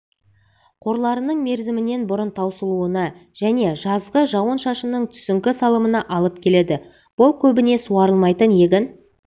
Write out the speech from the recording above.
қорларының мерзімінен бұрын таусылуына және жазғы жауын-шашынның түсіңкі салымына алып келеді бұл көбіне суарылмайтын егін